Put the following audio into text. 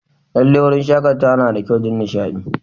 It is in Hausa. Lallai, wurin shakatawa yana da kyau don nishaɗi.